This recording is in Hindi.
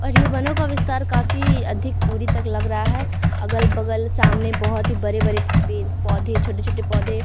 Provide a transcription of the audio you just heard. और ये वनों का विस्तार काफी अधिक दुरी तक लग रहा है अगल-बगल सामने बहुत ही बड़े-बड़े पेड़-पोधे छोटे-छोटे पौधे --